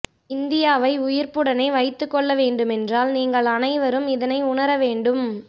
இந்தியாவை உயிர்ப்புடனே வைத்துக்கொள்ள வேண்டுமென்றால் நீங்கள் அனைவரும் இதனை உணர வேண்டும்